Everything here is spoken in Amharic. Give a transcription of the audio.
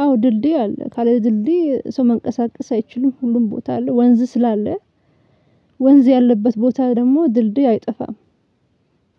አዎ ድልድይ አለ ካለ ድልድይ ሰው መንቀሳቀስ አይችልም ሁሉም ቦታ ላይ ወንዝ ስላለ ወንዝ ያለበት ቦታ ደግሞ ድልድይ አይጠፋም።